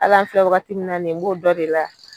Al'an filɛ wagati min na nin ye n b'o dɔ de la.